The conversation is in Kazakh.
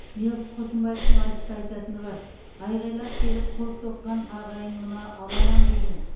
мэлс қосынбаевтың айтыста айтатыны бар айқайлап келіп қол соққан ағайын мына аламан деген